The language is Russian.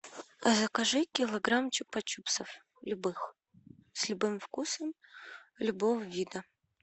закажи килограмм чупа чупсов любых с любым вкусом любого вида